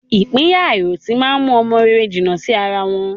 Ìpínyà àìròtì má ń mú ọmọ rere jìnnà sí ara wọn